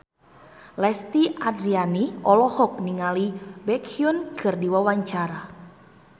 Lesti Andryani olohok ningali Baekhyun keur diwawancara